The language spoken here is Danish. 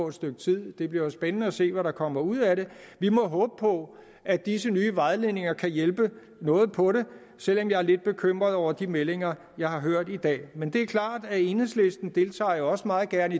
et stykke tid og det bliver spændende at se hvad der kommer ud af det vi må håbe på at disse nye vejledninger kan hjælpe noget på det selv om jeg er lidt bekymret over de meldinger jeg har hørt i dag men det er klart at enhedslisten jo også meget gerne